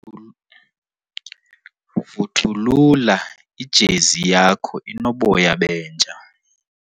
Vuthulula ijezi yakho inoboya benja.